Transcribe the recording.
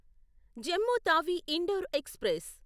Jammu Tawi Indore express